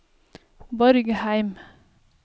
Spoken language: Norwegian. Borgheim